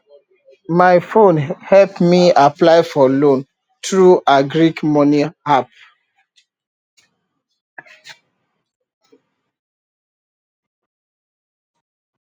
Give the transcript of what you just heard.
my phone help me apply for loan through agric money app